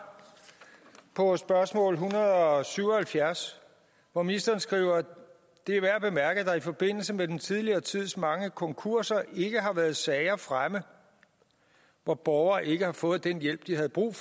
på spørgsmål en hundrede og syv og halvfjerds hvor ministeren skriver det er værd at bemærke at der i forbindelse med den tidligere tids mange konkurser ikke har været sager fremme hvor borgere ikke har fået den hjælp de havde brug